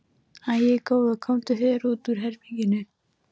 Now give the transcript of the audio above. Æi, góða, komdu þér út úr herberginu!